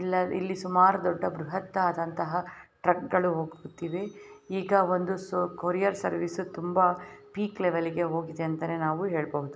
ಇಲ್ಲಿ ಸುಮಾರು ದೊಡ್ಡ ಬೃಹತ್ತಾದಂತಹ ಟ್ರಕ್ ಗಳು ಹೋಗುತ್ತಿವೆ ಈಗ ಒಂದು ಕೊರಿಯರ್ ಸರ್ವಿಸ್ ತುಂಬಾ ಪೀಕ್ ಲೆವೆಲ್ಲಿಗೆ ಹೋಗಿದೆ ಅಂತ ನಾವು ಹೇಳಬಹುದು.